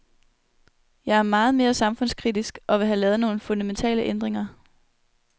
Jeg er meget mere samfundskritisk og vil have lavet nogle fundamentale ændringer.